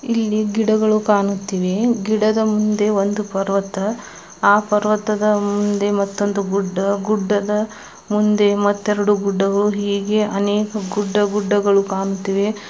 ಇಲ್ಲಿ ಗಿಡಗಳು ಕಾಣುತ್ತಿವೆ. ಗಿಡದ ಮುಂದೆ ಒಂದು ಪರ್ವತ. ಆ ಪರ್ವತದ ಮುಂದೆ ಮತ್ತೊಂದು ಗುಡ್ಡ. ಗುಡ್ಡದ ಮುಂದೆ ಮತ್ತೆರಡು ಗುಡ್ಡಗಳು. ಹೀಗೆ ಅನೇಕ ಗುಡ್ಡ ಗುಡ್ಡಗಳು ಕಾಣುತ್ತಿವೆ. .]